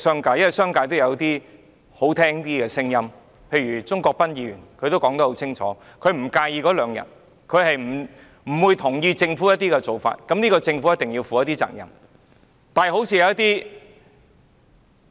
不過，商界也有一些好聽的聲音，正如鍾國斌議員說得很清楚，他不介意增加兩天侍產假，他不同意政府的一些做法，認為侍產假是政府需要負上的責任。